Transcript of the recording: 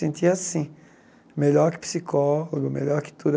Senti assim, melhor que psicólogo, melhor que tudo.